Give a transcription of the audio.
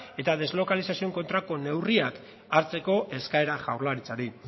eta deslokalizazioen kontrako neurriak hartzeko eskaera jaurlaritzari